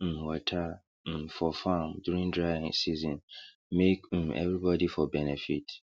um water um for farm during dry season make um everybody for benefit